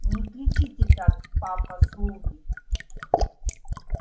не кричите так папа слуги